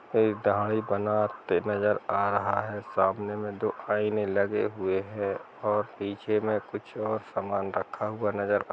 दाधि बनाते नजर आ रहा है सामने मे दो आयने लगे हुए है पीछे मे कुछ ओर समान रखे हुआ नजर आ--